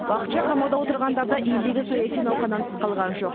уақытша қамауда отырғандар да елдегі саяси науқаннан тыс қалған жоқ